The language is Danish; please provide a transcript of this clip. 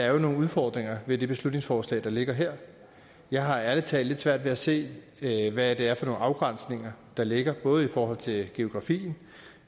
er nogle udfordringer ved det beslutningsforslag der ligger her jeg har ærligt talt lidt svært ved at se hvad det er for nogle afgrænsninger der ligger både i forhold til geografien